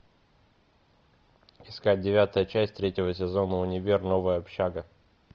искать девятая часть третьего сезона универ новая общага